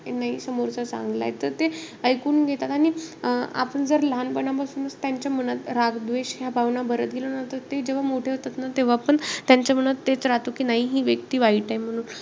नाई समोरचा चांगलाय त ते इकून घेतात. आणि अं आपण जर लहानपणापासूनचं त्यांच्या मनात राग, द्वेष या भावना भरत गेलो ना. तर ते जेव्हा मोठे होतात ना, तेव्हापण त्यांच्या मनात तेचं राहतो की, नाई हि व्यक्ती वाईट आहे म्हणून.